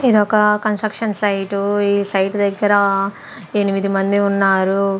ఇదొక construction site ఈ site దగ్గరా ఎనిమిది మంది ఉన్నారు.